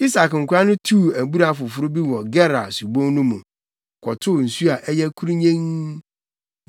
Isak nkoa no tuu abura foforo bi wɔ Gerar subon no mu, kɔtoo nsu a ɛyɛ kurunnyenn.